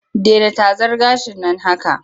Dena tazar gashin nan haka!